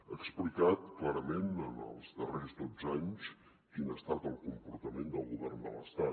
ha explicat clarament en els darrers dotze anys quin ha estat el comportament del govern de l’estat